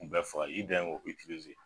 K'u bɛ faga i dan ye k'o itilize